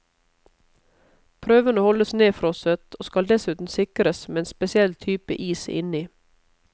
Prøvene holdes nedfrosset, og skal dessuten sikres med en spesiell type is inni.